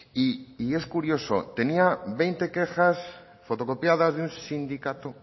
y es curioso tenía veinte quejas fotocopiadas de un sindicato